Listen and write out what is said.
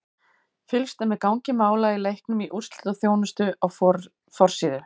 Fylgst er með gangi mála í leiknum í úrslitaþjónustu á forsíðu.